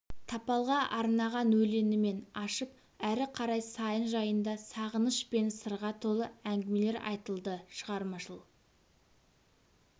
тапалға арнаған өлеңімен ашып ары қарай сайын жайында сағыныш пен сырға толы әңгімелер айтылды шығармашыл